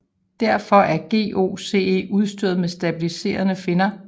Derfor er GOCE udstyret med stabiliserende finner